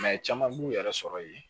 caman b'u yɛrɛ sɔrɔ yen